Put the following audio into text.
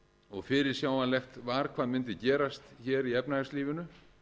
og fyrirsjáanlegt hvað mundi gerast hér í efnahagslífinu